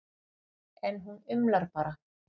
En hún umlar bara.